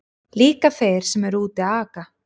Líka þeir sem eru úti að aka.